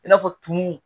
I n'a fɔ tumu